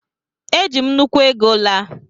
Eji m nnukwu ego laa